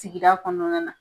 Sigida kɔnɔna na.